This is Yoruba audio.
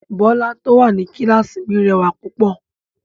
Bọ́lá tó wà ní kíláàsì mi rẹwà púpọ̀